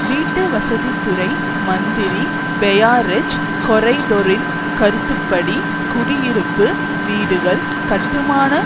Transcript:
வீட்டுவசதித்துறை மந்திரி பெயாரெஜ் கொரைடொரின் கருத்துப்படி குடியிருப்பு வீடுகள் கட்டுமான